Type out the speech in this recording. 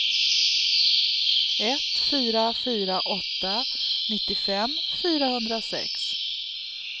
ett fyra fyra åtta nittiofem fyrahundrasex